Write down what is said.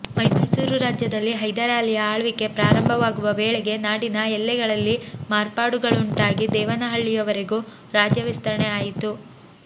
ಮೈಸೂರು ರಾಜ್ಯದಲ್ಲಿ ಹೈದರಾಲಿಯ ಆಳ್ವಿಕೆ ಪ್ರಾರಂಭವಾಗುವ ವೇಳೆಗೆ ನಾಡಿನ ಎಲ್ಲೆಗಳಲ್ಲಿ ಮಾರ್ಪಾಡುಗಳುಂಟಾಗಿ ದೇವನಹಳ್ಳಿಯವರೆಗೂ ರಾಜ್ಯವಿಸ್ತರಣೆ ಆಯಿತು